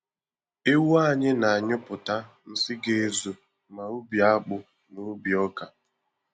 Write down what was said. Ewu anyị na-anyuịpụta nsị ga-ezu ma ubi akpụ ma ubi ọka.